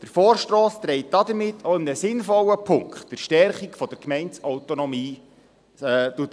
Der Vorstoss trägt damit auch in einem sinnvollen Punkt zur Stärkung der Gemeindeautonomie bei.